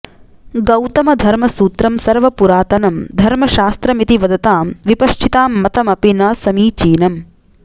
गौतमधर्मसूत्रं सर्वपुरातनं धर्मशास्त्रमिति वदतां विपश्चितां मतमपि न समीचीनम्